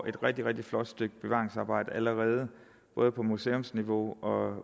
et rigtig rigtig flot bevaringsarbejdet allerede både på museumsniveau og